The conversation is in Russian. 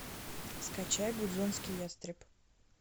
скачай гудзонский ястреб